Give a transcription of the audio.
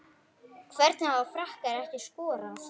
Hvernig hafa Frakkar ekki skorað?